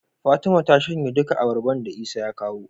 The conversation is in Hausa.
Fatima ta shanye duka abarbar da isa ya kawo